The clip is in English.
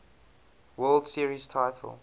world series title